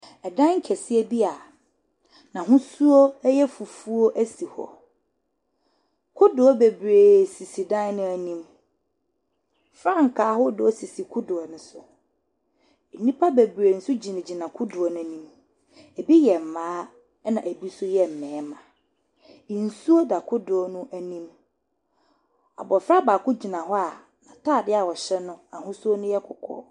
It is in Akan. Ɛdan kɛseɛ bi a n'ahosuo yɛ fufuo si hɔ. Kodoɔ bebree sisi dan no anim. Frankaa ahodoɔ sisi kodoɔ no so. Nnipa bebree nso gyinagyina kodoɔ no anim. Ebi yɛ mmaa, ɛnna ebi nso yɛ mmarima. Nsuo da kodoɔ no anim. Abɔfra baako gyina hɔ a n'atadeɛ a ɔhyɛ no, ahosuo no yɛ kɔkɔɔ.